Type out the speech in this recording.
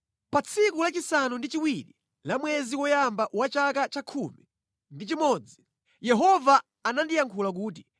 Pa tsiku lachisanu ndi chiwiri la mwezi woyamba wa chaka chakhumi ndi chimodzi, Yehova anandiyankhula kuti: